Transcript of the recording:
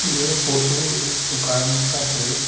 यह फोटो एक दुकान का है।